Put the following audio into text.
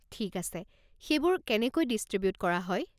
ঠিক আছে, সেইবোৰ কেনেকৈ ডিষ্ট্ৰিবিউট কৰা হয়?